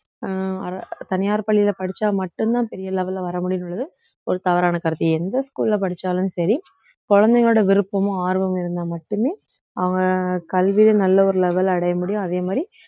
அஹ் அர~ தனியார் பள்ளியிலே படிச்சா மட்டும்தான் பெரிய level ல வர முடியும்ன்றது ஒரு தவறான கருத்து எந்த school ல படிச்சாலும் சரி குழந்தைங்களோட விருப்பமும் ஆர்வமும் இருந்தா மட்டுமே அவன் கல்வியில நல்ல ஒரு level அடைய முடியும் அதே மாதிரி